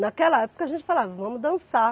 Naquela época a gente falava, vamos dançar.